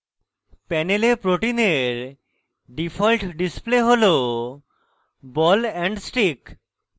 panel protein default display ball ball and stick